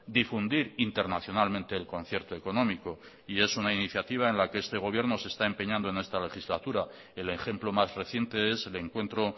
difundir internacionalmente el concierto económico y es una iniciativa en la que este gobierno se está empeñando en esta legislatura el ejemplo más reciente es el encuentro